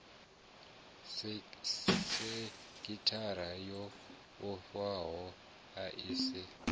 sekithara yo vhofhanaho i si